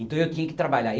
Então eu tinha que trabalhar.